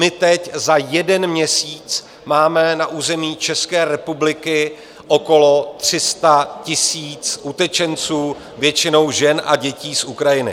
My teď za jeden měsíc máme na území České republiky okolo 300 000 utečenců, většinou žen a dětí z Ukrajiny.